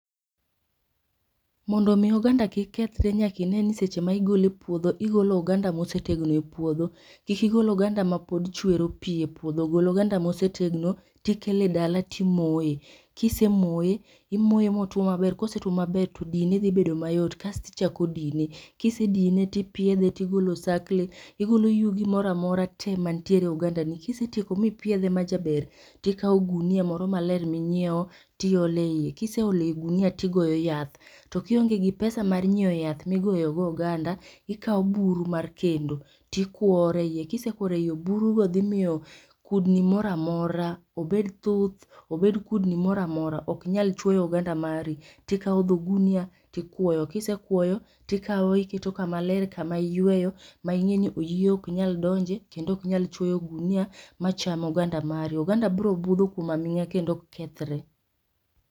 Mondo mi oganda kik kethre nyaka ineni seche ma igole e puodho igolo oganda mosetegno eipuodho, kik igol oganda mapod chwero pii e puodho, gol oganda mosetegno tikelo e dala timoye, kisemoye, imoye motuo maber, kosetuo maber to dine dhi bedo mayot. Kasto ichako dine, kisedine tipiedhe tigolo osakle igolo yugi moro amora tee mantiere e oganda ni .Kisetieko mipiedhe majaber tikao ogunia moro maler minyiew tiolo eiye, kiseolo e gunia tioglo yath. To kionge gi pesa mar nyiew yath migoyo go oganda kaw buru mar tedo tikuore, kisekuoro e iye, buru go dhi miyo kudni moro amora, obed thuth obed kudni moro amora oknyal chuoyo oganda mari. Tikaw dho gunia tikuoyo, kisekuoyo tikaw iketo kama ler kama iyweyo mingeyo ni oyieyo oka nyal donje gunia macham oganda mari. Oganda biro budho kuom aminga kendo ok kethre